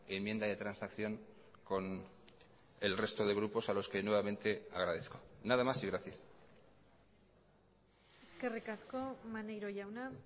enmienda de transacción con el resto de grupos a los que nuevamente agradezco nada más y gracias eskerrik asko maneiro jauna